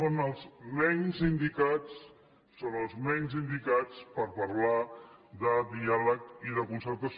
són els menys indicats són els menys indicats per parlar de diàleg i de concertació